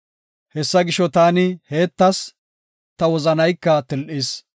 Hessa gisho taani heettas; ta wozanayka til7is.